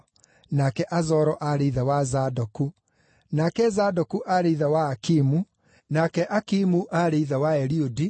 nake Azoro aarĩ ithe wa Zadoku, nake Zadoku aarĩ ithe wa Akimu, nake Akimu aarĩ ithe wa Eliudi,